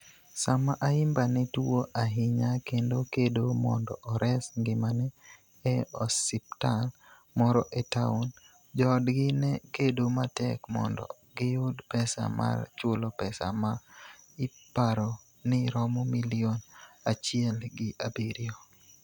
Sama Ayimba ne tuwo ahinya kendo kedo mondo ores ngimane e osiptal moro e taon, joodgi ne kedo matek mondo giyud pesa mar chulo pesa ma iparo ni romo milion achiel gi abiriyo.